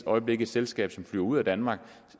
øjeblik et selskab som flyver ud af danmark